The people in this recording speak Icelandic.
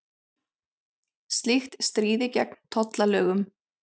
Slíkt stríði gegn tollalögum